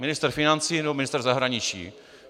Ministr financí nebo ministr zahraničí?